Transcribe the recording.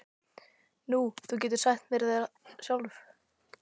Nú, þú getur sagt þér það sjálf.